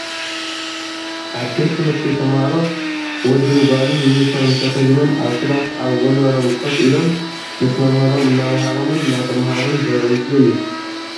ኣብ ቤት ትምህርቲ ተማሃሮ ወድን ጓልን ዩኒፎርም ተከዲኖም ኣብ ክላስ ኣብ ወንበሮም ኮፍ ኢሎም ምስ መምህሮም እንዳኣማሃሮምን እንዳተማሃሩን ዘርኢ ምስሊ እዩ።